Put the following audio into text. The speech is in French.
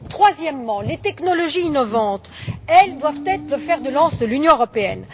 Troisièmement, les technologies innovantes doivent être le fer de lance de l'Union européenne.